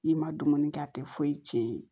I ma dumuni kɛ a tɛ foyi tiɲɛ